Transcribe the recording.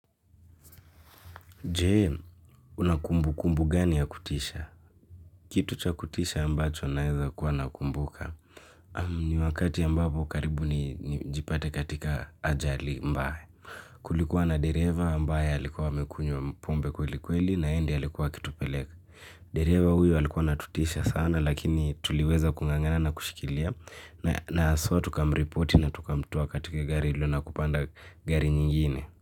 Jee, unakumbu kumbu gani ya kutisha? Kitu cha kutisha ambacho naeza kuwa nakumbuka. Ni wakati ya ambapo karibu ni jipate katika ajali mbaya. Kulikuwa na dereva ambaye alikuwa amekunywa pombe kweli kweli na yenye ndiye alikuwa akitupeleka. Dereva huyo alikuwa anatutisha sana lakini tuliweza kungangana na kushikilia. Na haswaa tukamripoti na tukamtoa katika gari ilo na kupanda gari nyingine.